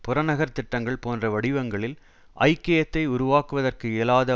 புறநகர் திட்டங்கள் போன்ற வடிவங்களில் ஐக்கியத்தை உருவாக்குவதற்கு இயலாத